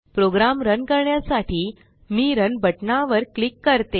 programme run करण्यासाठी मी run बटना वर क्लिक करते